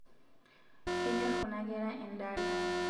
kenyor kuna kera endala